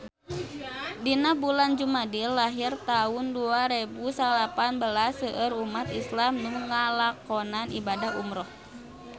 Dina bulan Jumadil ahir taun dua rebu salapan belas seueur umat islam nu ngalakonan ibadah umrah